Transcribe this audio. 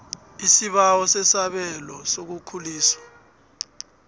isibawo sesabelo sokukhuliswa